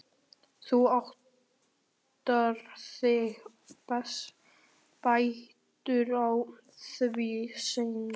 Þú áttar þig betur á því seinna.